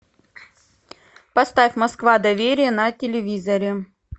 поставь москва доверие на телевизоре